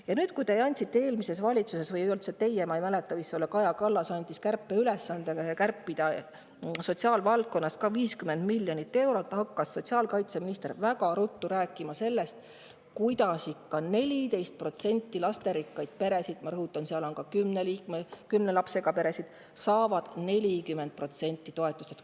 Pärast seda, kui te andsite eelmises valitsuses ülesande – või ei olnud see teie, ma ei mäleta, see võis olla Kaja Kallas – kärpida sotsiaalvaldkonnas 50 miljonit eurot, hakkas sotsiaalkaitseminister väga ruttu rääkima sellest, kuidas lasterikkad pered, keda on 14% – ma rõhutan: nende hulgas on ka kümne lapsega peresid –, saavad 40% toetustest.